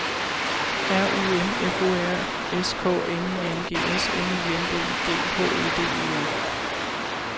R U M F O R S K N I N G S M Y N D I G H E D E R